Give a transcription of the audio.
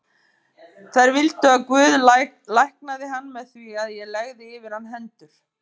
Þær vildu að Guð læknaði hann með því að ég legði yfir hann hendur.